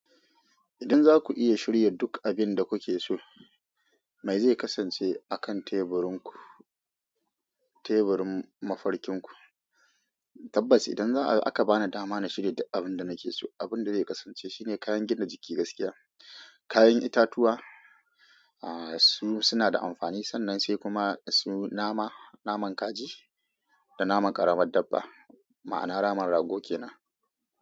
Idan za ku iya shirya duk abin da kuke so, me zai kasance a kan teburin ku, teburin mafarkin ku? Tabbas idan za'a aka bani dama na shirya abin da nake so, abin da zai kasance shine kayan gina jiki gaskiya, kayan itatuwa, a su suna da amfani sannan sai kuma su nama, naman kaji da naman ƙaramin dabba, ma'ana naman rago kenan.